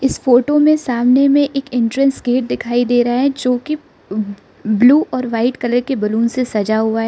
इस फोटो में सामने में एक एंट्रेंस गेट दिखाई दे रहा है जो की ब्लू और वाइट कलर के बैलून से सजा हुआ है।